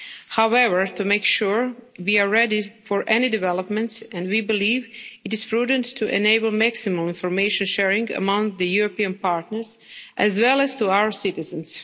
However, to make sure, we are ready for any developments, and we believe it is prudent to enable maximum information sharing among the European partners as well as to our citizens.